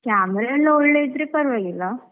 Camera ಎಲ್ಲ ಒಳ್ಳೆ ಇದ್ರೆ ಪರವಾಗಿಲ್ಲ.